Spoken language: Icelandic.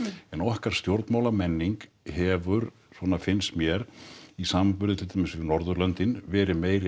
en okkar stjórnmálamenning hefur svona finnst mér í samanburði við til dæmis Norðurlöndin verið meiri